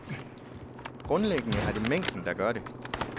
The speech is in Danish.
Grundlæggende er det mængden, der gør det.